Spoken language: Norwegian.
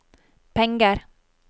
penger